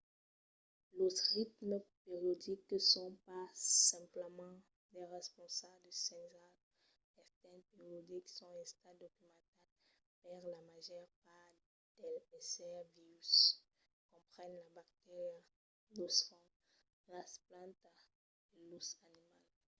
los ritmes periodics que son pas simplament de responsas a de senhals extèrns periodics son estats documentats per la màger part dels èssers vius comprenent las bacterias los fongs las plantas e los animals